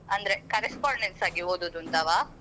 ಅಂದ್ರೆ correspondence ಹಾಗೆ ಓದುದಂತವಾ?